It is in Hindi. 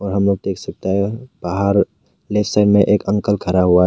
हम लोग देख सकता है बाहर में एक अंकल खड़ा हुआ है।